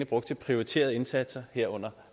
brugt til prioriterede indsatser herunder